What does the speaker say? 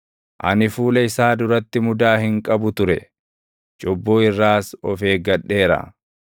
Ani fuula isaa duratti mudaa hin qabu ture; cubbuu irraas of eeggadheera.